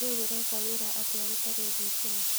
Rĩu ũreka wĩra atĩa gũtarĩ thitima?